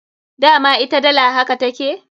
Dama ita dala haka take.